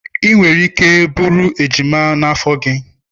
Ị nwere ike iburu ejima n'afọ gị.